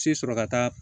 Si sɔrɔ ka taa